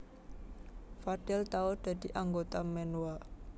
Fadel tau dadi anggota Menwa